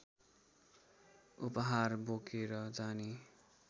उपहार बोकेर जाने